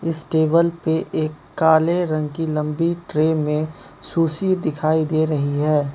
इस टेबल पे एक काले रंग की लंबी ट्रे मे सुशी दिखाई दे रही है।